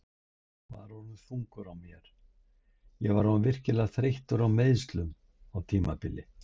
Var orðinn þungur á mér Ég var orðinn virkilega þreyttur á meiðslunum á tímabili.